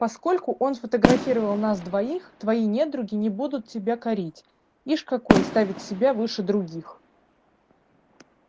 поскольку он фотографировал нас двоих твои недруги не будут тебя корить ишь какой ставит себя выше других